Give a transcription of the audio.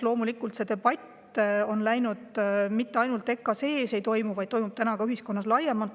Loomulikult, see debatt ei toimu mitte ainult EKA-s, vaid ühiskonnas laiemalt.